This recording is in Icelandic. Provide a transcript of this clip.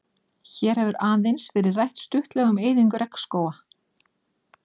Hér hefur aðeins verið rætt stuttlega um eyðingu regnskóga.